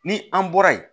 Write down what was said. Ni an bɔra yen